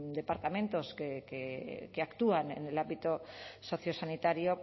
departamentos que actúan en el ámbito sociosanitario